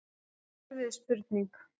Þetta er erfið spurning.